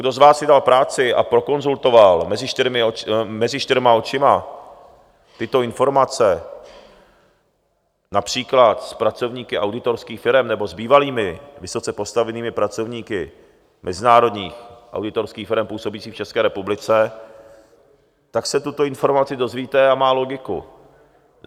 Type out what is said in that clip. Kdo z vás si dal práci a prokonzultoval mezi čtyřma očima tyto informace například s pracovníky auditorských firem nebo s bývalými vysoce postavenými pracovníky mezinárodních auditorských firem působících v České republice, tak se tuto informaci dozvíte, a má logiku.